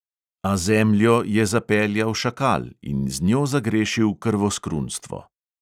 A zemljo je zapeljal šakal in z njo zagrešil krvoskrunstvo.